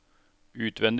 utvendig